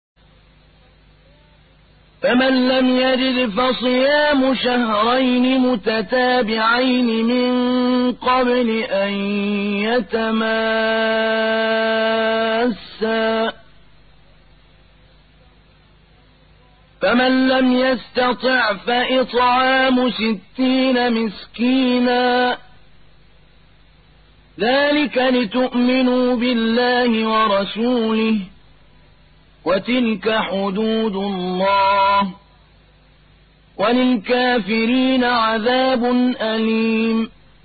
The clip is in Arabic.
فَمَن لَّمْ يَجِدْ فَصِيَامُ شَهْرَيْنِ مُتَتَابِعَيْنِ مِن قَبْلِ أَن يَتَمَاسَّا ۖ فَمَن لَّمْ يَسْتَطِعْ فَإِطْعَامُ سِتِّينَ مِسْكِينًا ۚ ذَٰلِكَ لِتُؤْمِنُوا بِاللَّهِ وَرَسُولِهِ ۚ وَتِلْكَ حُدُودُ اللَّهِ ۗ وَلِلْكَافِرِينَ عَذَابٌ أَلِيمٌ